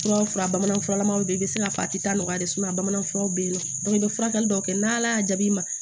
Fura bamanan furalamaw bɛ i bɛ se k'a fɔ a tɛ taa nɔgɔya de bamanan furaw bɛ yen nɔ i bɛ furakɛli dɔw kɛ n' ala y'a jaabi